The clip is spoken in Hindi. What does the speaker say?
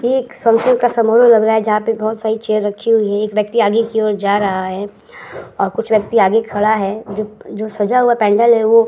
ये एक संतूर का समारोह लग रहा है जहां पे बोहोत सारी चेयर रखी हुई है। एक व्यक्ति आगे की ओर जा रहा है और कुछ व्यक्ति आगे खड़ा है जो जो सजा हुआ पैंडल है वो --